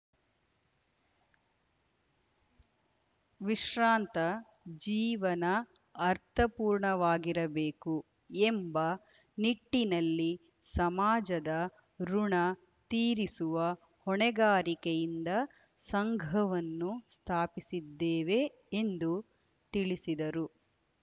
ವಿಶ್ರಾಂತ ಜೀವನ ಅರ್ಥಪೂರ್ಣವಾಗಿರಬೇಕು ಎಂಬ ನಿಟ್ಟಿನಲ್ಲಿ ಸಮಾಜದ ಋುಣ ತೀರಿಸುವ ಹೊಣೆಗಾರಿಕೆಯಿಂದ ಸಂಘವನ್ನು ಸ್ಥಾಪಿಸಿದ್ದೇವೆ ಎಂದು ತಿಳಿಸಿದರು